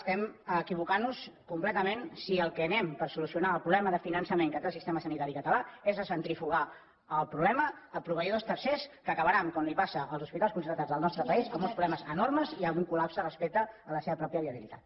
estem equivocant nos completament si al que anem per solucionar el problema de finançament que té el sistema sanitari català és a centrifugar el problema a proveïdors tercers que acabaran com els passa als hospitals concertats del nostre país amb uns problemes enormes i amb un col·lapse respecte a la seva pròpia viabilitat